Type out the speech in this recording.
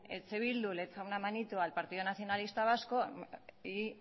eh bildu le echa una manita al partido nacionalista vasco y